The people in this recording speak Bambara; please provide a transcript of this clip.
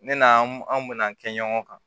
Ne n'an an mina kɛ ɲɔgɔn kan